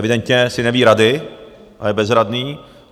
Evidentně si neví rady a je bezradný.